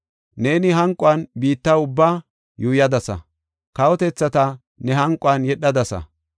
Neeni hanquwan biitta ubba yuuyadasa; kawotethata ne hanquwan yedhadasa.